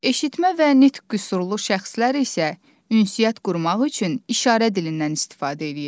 Eşitmə və nitq qüsurlu şəxslər isə ünsiyyət qurmaq üçün işarə dilindən istifadə edirlər.